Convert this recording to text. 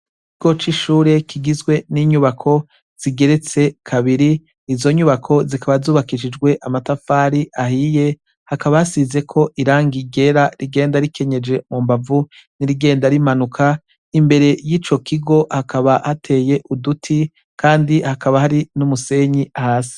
Ikigo c'ishure kigeretse n'inyubako izo nyubako zikaba zubakishijwe amatafari ahiye, hakaba hasizeko irangi ryera rigenda rikenyeje mu mbavu n'irigenda rimanuka, imbere y'ico kigo hakaba hateye uduti kandi hakaba hari n'umusenyi hasi.